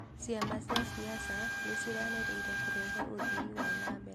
Ciama cia siasa nĩ ciĩranĩire kũrehe uthii wa nambere